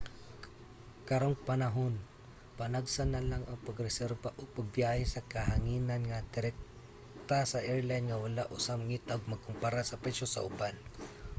karong panahon panagsa na lang ang pag-reserba og biyahe sa kahanginan nga direkta sa airline nga wala usa mangita ug magkumpara sa presyo sa uban